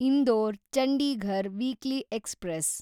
Indore Chandigarh weekly express